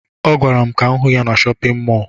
Ọ gwara m ka m hụ ya na shọpịn mọọ